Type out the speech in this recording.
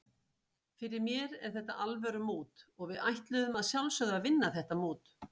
Fyrir mér er þetta alvöru mót og við ætluðum að sjálfsögðu að vinna þetta mót.